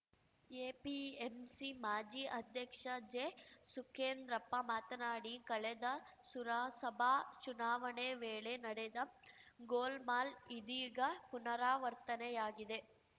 APMC ಮಾಜಿ ಅಧ್ಯಕ್ಷ ಜೆಸುಕೇಂದ್ರಪ್ಪ ಮಾತನಾಡಿ ಕಳೆದ ಸುರಸಭಾ ಚುನಾವಣೆ ವೇಳೆ ನಡೆದ ಗೋಲ್‌ಮಾಲ್‌ ಇದೀಗ ಪುನರಾವರ್ತನೆಯಾಗಿದೆ